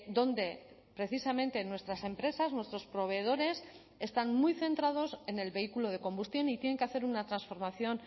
donde precisamente nuestras empresas nuestros proveedores están muy centrados en el vehículo de combustión y tienen que hacer una transformación